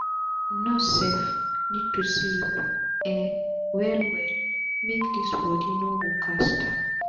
nurse sef need sleep um well well make dis bodi no go scata